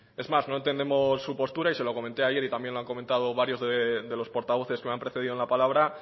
es más no entendemos su postura y se lo comenté ayer y también le han comentado varios de los portavoces que me han precedido en la palabra